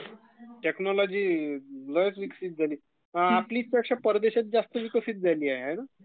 technology बघ कश ीविकसित झाल...आपल्यापेक्षा परदेशात जास्त विकसित झालीय हाय ना?...